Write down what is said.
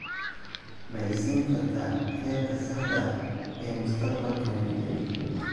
ma i siin kartaa heerka saxda ah ee mustaqbalka nifty